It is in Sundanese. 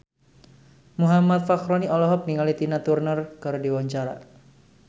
Muhammad Fachroni olohok ningali Tina Turner keur diwawancara